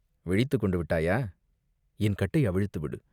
விழித்துக் கொண்டு விட்டாயா?" "என் கட்டை அவிழ்த்து விடு!